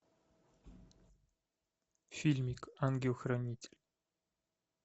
фильмик ангел хранитель